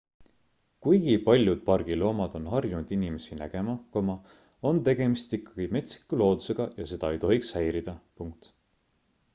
kuigi paljud pargi loomad on harjunud inimesi nägema on tegemist ikkagi metsiku loodusega ja seda ei tohiks häirida